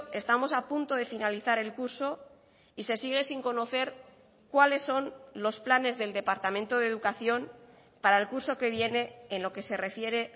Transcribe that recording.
estamos a punto de finalizar el curso y se sigue sin conocer cuáles son los planes del departamento de educación para el curso que viene en lo que se refiere